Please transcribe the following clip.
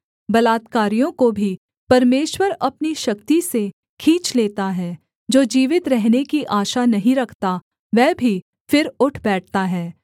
बलात्कारियों को भी परमेश्वर अपनी शक्ति से खींच लेता है जो जीवित रहने की आशा नहीं रखता वह भी फिर उठ बैठता है